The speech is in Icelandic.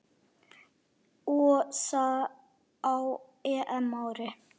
Og það á EM-ári.